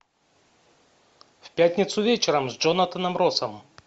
в пятницу вечером с джонатаном россом